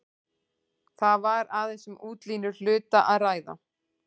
Þar var aðeins um útlínur hluta að ræða.